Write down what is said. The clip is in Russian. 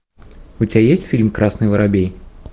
у тебя есть фильм красный воробей